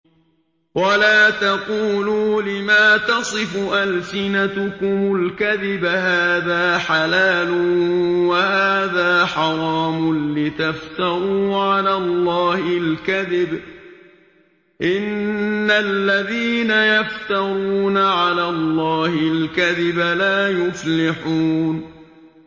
وَلَا تَقُولُوا لِمَا تَصِفُ أَلْسِنَتُكُمُ الْكَذِبَ هَٰذَا حَلَالٌ وَهَٰذَا حَرَامٌ لِّتَفْتَرُوا عَلَى اللَّهِ الْكَذِبَ ۚ إِنَّ الَّذِينَ يَفْتَرُونَ عَلَى اللَّهِ الْكَذِبَ لَا يُفْلِحُونَ